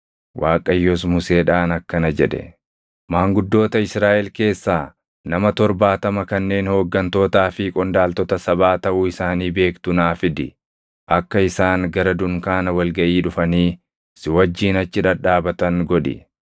Waaqayyos Museedhaan akkana jedhe; “Maanguddoota Israaʼel keessaa nama torbaatama kanneen hooggantootaa fi qondaaltota sabaa taʼuu isaanii beektu naa fidi. Akka isaan gara dunkaana wal gaʼii dhufanii si wajjin achi dhadhaabatan godhi.